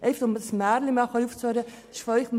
Um endlich einmal mit diesem Märchen aufzuräumen: